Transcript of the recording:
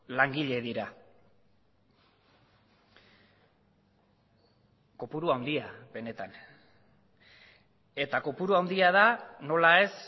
langile dira kopuru handia benetan eta kopuru handia da nola ez